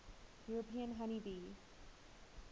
european honey bee